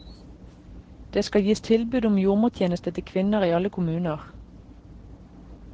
Det skal gis tilbud om jordmortjeneste til kvinner i alle kommuner.